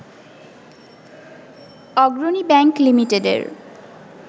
অগ্রণী ব্যাংক লিমিটেডের